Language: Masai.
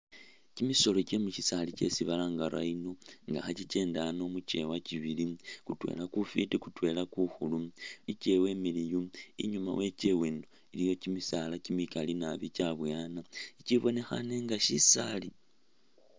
Kyi misolo kye mu shisaali kyesi balanga rhino nga kha kyi kyenda ano mukyewa kyibili, kutwela kufiti kutwela ku khulu i kyewa imiliyu, inyuma we kyewa ino iliyo kyimisaala kyimikali nabi kyabuwana i kyibonekhane nga shisaali.